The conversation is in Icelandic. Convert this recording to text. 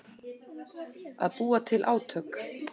Að búa til átök